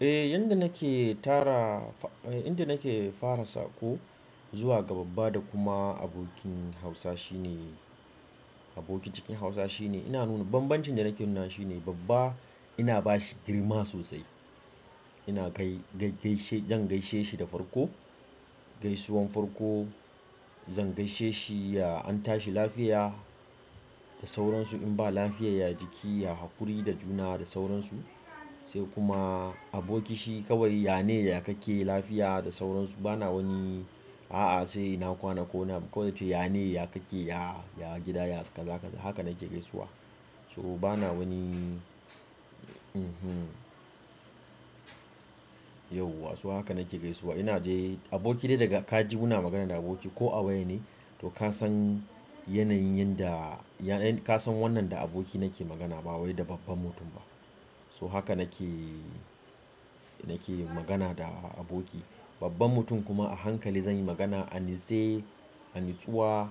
Eh, yadda nake tara, inda nake fara saƙo zuwa ga babba da kuma abokin Hausa shine abokin cikin Hausa shine ina nuna bambancin da nake nuna shine babba ina bashi girma sosai. Ina kai-- zan gaishe shi da farko, gaisuwan farko zan gaishe shi ya an tashi lafiya da sauransu in ba lafiya, ya jiki, ya haƙuri da juna da sauransu. Sai kuma aboki shi kawai yane ya kake lafiya da sauransu. Bana wani a'a sai ina kwana ko wani abu kowai zance yane ya kakke ya, ya gida yas kaza kaza haka nake gaisuwa. So bana wani, mm-hmm, yauwa. So haka nake gaisuwa. Ina je aboki dai daga ka ji muna magana da aboki ko a waya ne to ka san yanayin yanda ka san wannan da aboki nake magana ba wai da babban mutum ba. So haka nake, nake magana da aboki. Babban mutum kuma a hankali zan yi magana, anitse, a nitsuwa,